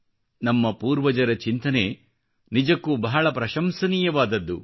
ನಮ್ಮ ಪೂರ್ವಜರ ಚಿಂತನೆ ನಿಜಕ್ಕೂ ಬಹಳ ಪ್ರಶಂಸನೀಯವಾದದ್ದು